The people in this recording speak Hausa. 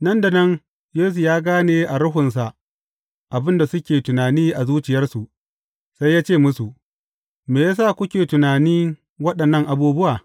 Nan da nan, Yesu ya gane a ruhunsa abin da suke tunani a zuciyarsu, sai ya ce musu, Me ya sa kuke tunanin waɗannan abubuwa?